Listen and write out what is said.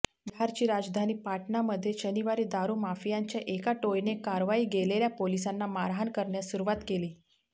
बिहारची राजधानी पाटणामध्ये शनिवारी दारुमाफियांच्या एका टोळीने कारवाई गेलेल्या पोलिसांना मारहाण करण्यास सुरुवात केली